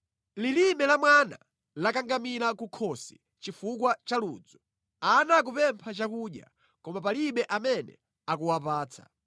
Lilime la mwana lakangamira kukhosi chifukwa cha ludzu, ana akupempha chakudya, koma palibe amene akuwapatsa.